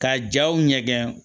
Ka jaw ɲɛgɛn